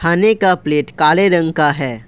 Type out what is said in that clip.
खाने का प्लेट काले रंग का है।